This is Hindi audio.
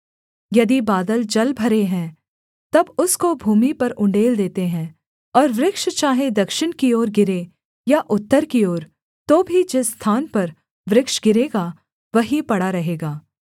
यदि बादल जलभरे हैं तब उसको भूमि पर उण्डेल देते हैं और वृक्ष चाहे दक्षिण की ओर गिरे या उत्तर की ओर तो भी जिस स्थान पर वृक्ष गिरेगा वहीं पड़ा रहेगा